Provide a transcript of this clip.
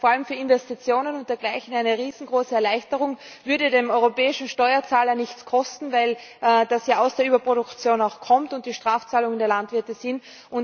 Das wäre vor allem für Investitionen und dergleichen eine riesengroße Erleichterung, würde den europäischen Steuerzahler nichts kosten, weil das ja aus der Überproduktion kommt und es sich um Strafzahlungen der Landwirte handelt.